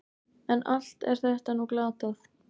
En allt er þetta nú glatað.